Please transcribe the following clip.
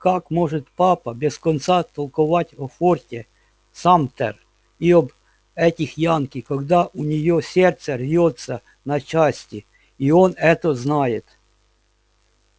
как может папа без конца толковать о форте самтер и об этих янки когда у неё сердце рвётся на части и он это знает